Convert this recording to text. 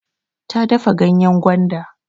Ta dafa ganyen gwanda.